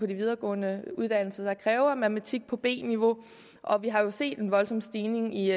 videregående uddannelser der kræver matematik på b niveau og vi har jo set en voldsom stigning i